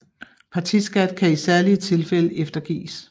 Partiskat kan i særlige tilfælde eftergives